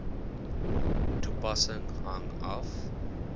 toepassing hang af